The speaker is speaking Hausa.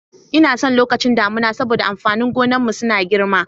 Inason lokacin damuna saboda amfanin gonan mu suna girma.